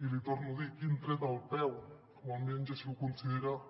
i l’hi torno a dir quin tret al peu o almenys així ho consideren